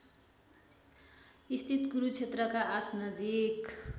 स्थित कुरुक्षेत्रका आसनजिक